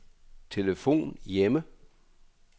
telefon hjemme